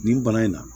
Nin bana in na